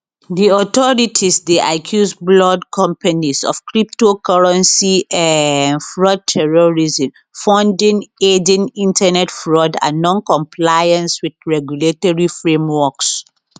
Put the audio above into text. di authorities dey accuse blord companies of cryptocurrency um fraud terrorism funding aiding internet fraud and noncompliance wit regulatory frameworks